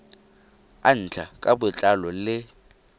a ntlha ka botlalo le